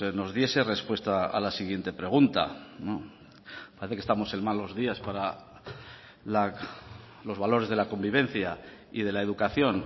nos dieses respuesta a la siguiente pregunta parece que estamos en malos días para los valores de la convivencia y de la educación